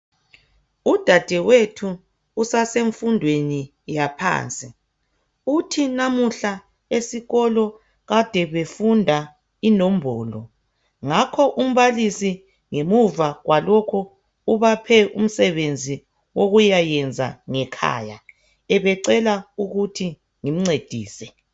Udadewethu usasemfundweni yaphansi, uthi namuhla esikolweni kade befunda inombolo. Ngakho umbalisi ngemuva kwalokho ubaphe umsebenzi wokwenza ngekhaya ubecela ukuthi ngimncedise.